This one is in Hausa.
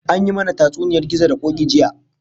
An yi mana tatsuniyar gizo da koki jiya